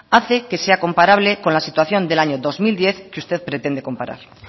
hace que sea comparable con la situación del año dos mil diez que usted pretende comparar